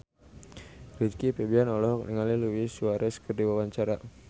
Rizky Febian olohok ningali Luis Suarez keur diwawancara